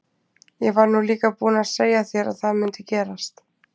Ég var nú líka búinn að segja þér að það mundi gerast!